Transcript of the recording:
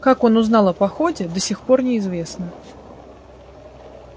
как он узнал о походе до сих пор неизвестно